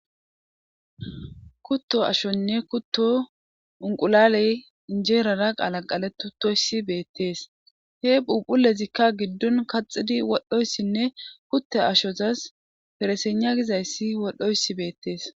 Kutto ashonne kutto unqulaley injeerara qaala qaletu toyssi beettees he phuphulezikka giddun kaxidi wodhoyssinne kutte ashozas fereseena gizayssi wodhdhoyssi beettees.